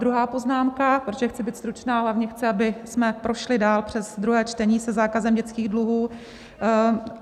Druhá poznámka, protože chci být stručná, a hlavně chci, abychom prošli dál přes druhé čtení se zákazem dětských dluhů.